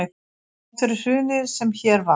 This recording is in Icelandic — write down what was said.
Þrátt fyrir hrunið sem hér varð